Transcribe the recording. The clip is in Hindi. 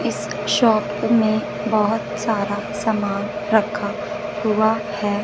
इस शॉप में बहुत सारा सामान रखा हुआ है।